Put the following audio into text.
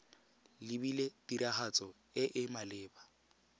lebilwe tiragatso e e maleba